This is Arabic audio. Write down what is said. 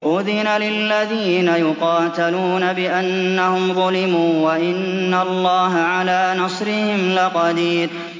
أُذِنَ لِلَّذِينَ يُقَاتَلُونَ بِأَنَّهُمْ ظُلِمُوا ۚ وَإِنَّ اللَّهَ عَلَىٰ نَصْرِهِمْ لَقَدِيرٌ